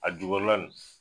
A jukɔrɔla nin